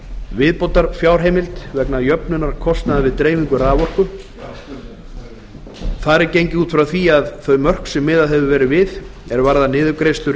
viðbótar fjárheimild vegna jöfnunar kostnaðar við dreifingu raforku þar er gengið út frá því að þau mörk sem miðað hefur verið við er varðar niðurgreiðslur